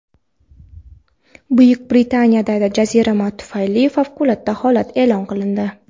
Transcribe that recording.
Buyuk Britaniyada jazirama tufayli favqulodda holat e’lon qilindi.